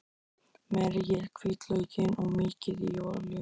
Merjið hvítlaukinn og mýkið í olíunni.